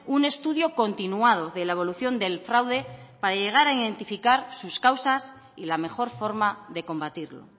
un estudio continuado de la evolución del fraude para llegar a identificar sus causas y la mejor forma de combatirlo